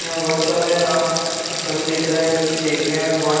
यहाँ बहुत सारे आ फ़ल दिख रहे है जोकि देखने में बहुत--